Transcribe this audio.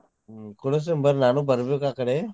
ಕೊಡಿಸ್ತೇನ್ ಬರ್ರಿ ನಾನು ಬರ್ಬೇಕ್ ಆಕಡೆ.